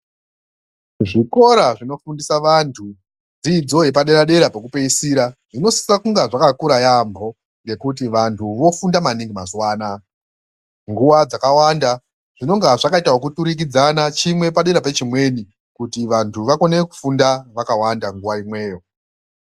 Zvikora zvinofundisa vantu dzidzo yepaderadera pekupeisira zvinosisa kunga zvakakura yaamho ngekuti vanhu vofunda maningi mazuwa anoaya, nguwa dzakawanda zvinonga zvakaturukidzana, chimwe padera pechimweni kuti vanhu vakone kufunda vakawanda nguwa imweyo.